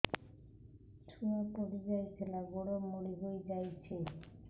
ଛୁଆ ପଡିଯାଇଥିଲା ଗୋଡ ମୋଡ଼ି ହୋଇଯାଇଛି